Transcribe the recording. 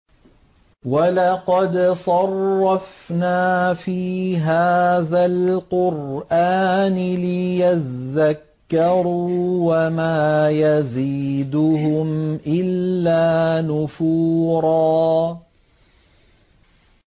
وَلَقَدْ صَرَّفْنَا فِي هَٰذَا الْقُرْآنِ لِيَذَّكَّرُوا وَمَا يَزِيدُهُمْ إِلَّا نُفُورًا